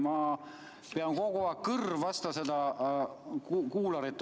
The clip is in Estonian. Ma pean kogu aeg istuma, kõrv vastu seda kuularit.